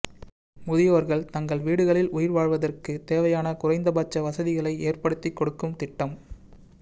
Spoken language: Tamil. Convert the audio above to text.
முதியோர்கள் தங்கள் வீடுகளில் உயிர்வாழ்வதற்கு தேவையான குறைந்தபட்ச வசதிகளை ஏற்படுத்திக்கொடுக்கும் திட்டம்